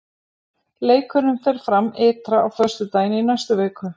Leikurinn fer fram ytra á föstudaginn í næstu viku.